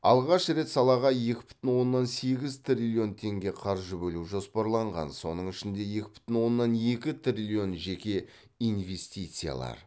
алғаш рет салаға екі бүтін оннан сегіз триллион теңге қаржы бөлу жоспарланған соның ішінде екі бүтін оннан екі триллион жеке инвестициялар